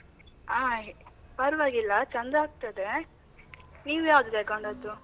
ಹಾ ಪರ್ವಾಗಿಲ್ಲ, ಚಂದ ಆಗ್ತದೆ. ನೀವ್ ಯಾವುದು ತಗೊಂಡದ್ದು?